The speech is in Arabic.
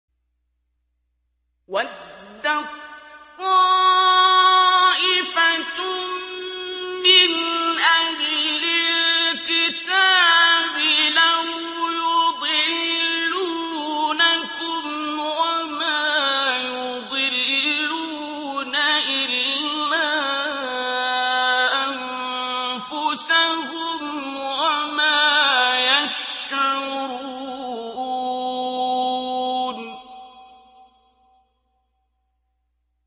وَدَّت طَّائِفَةٌ مِّنْ أَهْلِ الْكِتَابِ لَوْ يُضِلُّونَكُمْ وَمَا يُضِلُّونَ إِلَّا أَنفُسَهُمْ وَمَا يَشْعُرُونَ